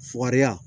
Fukariya